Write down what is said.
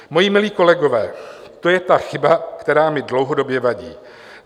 Moji milí kolegové, to je ta chyba, která mi dlouhodobě vadí.